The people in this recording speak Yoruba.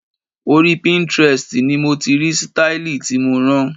Orí Pinterest ni mo ti rí sítáílì tí mo rán.